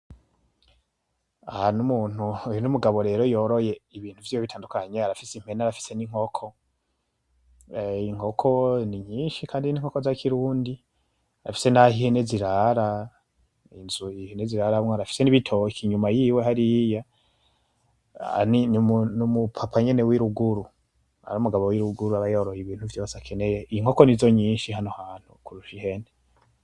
Aha n'umuntu, uyu n'umugabo rero yoroye ibintu vyiwe bitandukanye, arafise impene; arafise n'inkoko, inkoko ni nyinshi kandi n'inkoko za kirundi, arafise nah'ihene zirara, inzu ihene ziraramwo, arafise n'ibitoki inyuma yiwe hariya, (n'umu) n'umu papa nyene w'iruguru, ar'umugabo wiruguru aba yoroye ibintu vyose akeneye, inkoko nizo nyinshi hano hantu kurusha ihene.